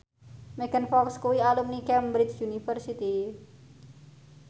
Megan Fox kuwi alumni Cambridge University